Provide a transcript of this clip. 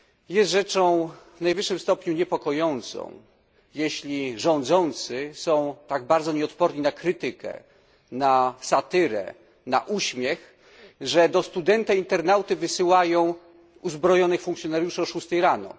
Jest rzeczą w najwyższym stopniu niepokojącą, jeśli rządzący są tak bardzo nieodporni na krytykę, na satyrę, na uśmiech, że do studenta internauty wysyłają uzbrojonych funkcjonariuszy o szóstej rano.